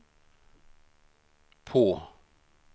på